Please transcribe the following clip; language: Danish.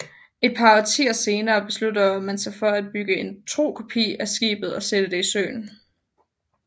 Et par årtier senere beslutter man sig for at bygge en tro kopi af skibet og sætte det i søen